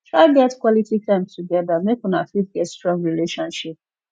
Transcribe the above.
try get quality time together make una fit get strong relationship